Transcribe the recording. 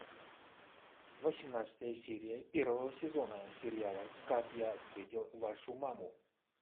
восемнадцатая серия первого сезона сериала как я встретил вашу маму